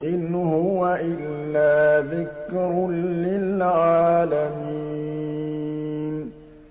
إِنْ هُوَ إِلَّا ذِكْرٌ لِّلْعَالَمِينَ